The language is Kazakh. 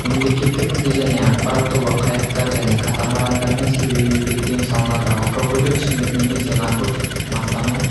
мемлекеттік тіл және ақпарат тобы қайықтар және катамарандармен серуендегенде тиым салынады алкогольдік ішімдік немесе наркотикалық мастану